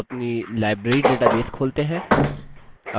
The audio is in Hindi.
अपनी library database खोलते हैं